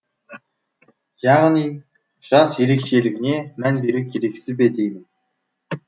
яғни жас ерекшелігіне мән беру керексіз бе деймін